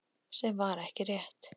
Sem var ekki rétt.